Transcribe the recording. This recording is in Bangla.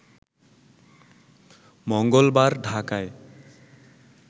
মঙ্গলবার ঢাকায়